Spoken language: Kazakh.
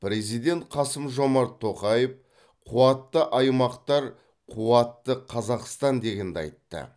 президент қасым жомарт тоқаев қуатты аймақтар қуатты қазақстан дегенді айтты